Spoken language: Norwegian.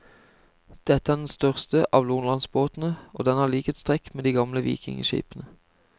Dette er den største av nordlandsbåtene og den har likhetstrekk med de gamle vikingeskipene.